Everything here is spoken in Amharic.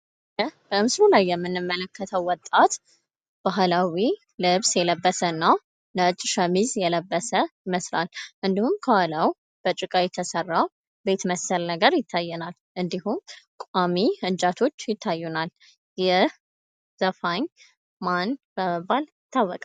በምስሉ ላይ የምንመለከተው ወጣት ባህላዊ ልብስ የለበሰ ነው ።ነጭ ሸሚዝ የለበሰ ይመስላል። እንዲሁም ከኋላው ከጭቃ የተሰራ ቤት መሰል ነገር ይታየናል። እንዲሁም ቋሚ እንጨቶች ይታዩናል። ይህ ዘፋኝ ማን በመባል ይታወቃል?